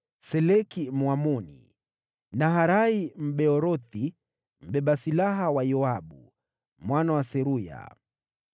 Seleki Mwamoni, Naharai Mbeerothi, mbeba silaha wa Yoabu mwana wa Seruya,